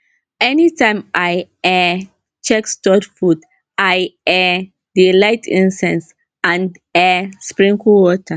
anytime i um check stored food i um dey light incense and um sprinkle water